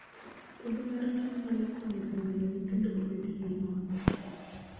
Puodho mar cham nyalo konyo e miyo nyithindo obed gi ngima maber